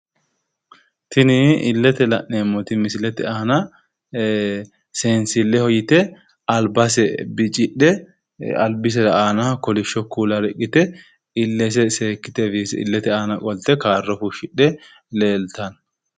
Tini illete la'neemmoti misilete aana seensilleho yite albase bicidhe albise aana kolishsho kuula riqqite illese seekkite illete aana qolte kaarro fushshidhe leeltanno.